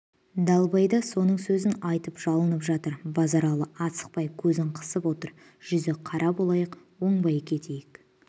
далбай да соның сөзін айтып жалынып жатыр базаралы асықпай көзін қысып отыр жүзі қара болайық оңбай кетейік